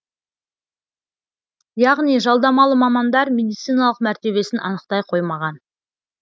яғни жалдамалы мамандар медициналық мәртебесін анықтай қоймаған